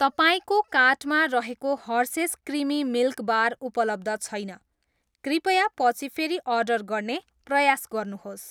तपाईँको कार्टमा रहेको हर्सेस क्रिमी मिल्क बार उपलब्ध छैन, कृपया पछि फेरि अर्डर गर्ने प्रयास गर्नुहोस्।